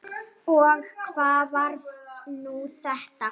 Og hvað var nú þetta!